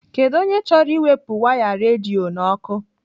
Kedụ onye chọrọ iwepụ waya redio n'ọkụ?